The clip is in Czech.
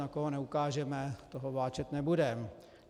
Na koho neukážeme, toho vláčet nebudeme.